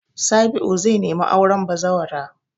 Sabi'u zai nemi auren bazawara.